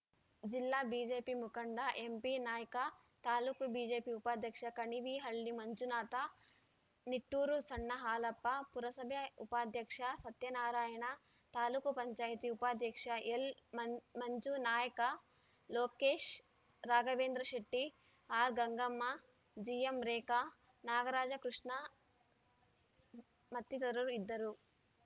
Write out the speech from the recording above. ಜಿಲ್ಲಾ ಬಿಜೆಪಿ ಮುಖಂಡ ಎಂಪಿನಾಯ್ಕ ತಾಲೂಕು ಬಿಜೆಪಿ ಉಪಾಧ್ಯಕ್ಷ ಕಣಿವಿಹಳ್ಳಿ ಮಂಜುನಾಥ ನಿಟ್ಟೂರು ಸಣ್ಣ ಹಾಲಪ್ಪ ಪುರಸಭೆ ಉಪಾಧ್ಯಕ್ಷ ಸತ್ಯನಾರಾಯಣ ತಾಲೂಕ್ ಪಂಚಾಯತಿ ಉಪಾಧ್ಯಕ್ಷ ಎಲ್‌ಮಂಜ್ಯನಾಯ್ಕ ಲೋಕೇಶ್‌ ರಾಘವೇಂದ್ರಶೆಟ್ಟಿ ಆರ್‌ಗಂಗಮ್ಮ ಜಿಎಂರೇಖಾ ನಾಗರಾಜ ಕೃಷ್ಣ ಮತ್ತಿತರರು ಇದ್ದರು